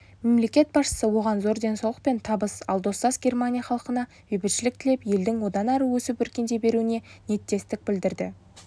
мемлекет басшысы оған зор денсаулық пен табыс ал достас германия халқына бейбітшілік тілеп елдің одан әрі өсіп-өркендей беруіне ниеттестік білдірді